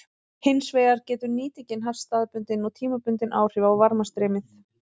Hins vegar getur nýtingin haft staðbundin og tímabundin áhrif á varmastreymið.